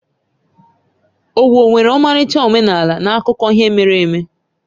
Owo nwere ọmarịcha omenala na akụkọ ihe mere eme.